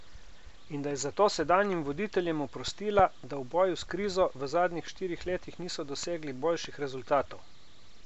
In da je zato sedanjim voditeljem oprostila, da v boju s krizo v zadnjih štirih letih niso dosegli boljših rezultatov?